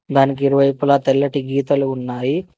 దానికి ఇరువైపులా తెల్లటి గీతలు ఉన్నాయి.